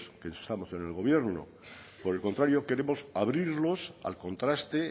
que estamos en el gobierno por el contrario queremos abrirlos al contraste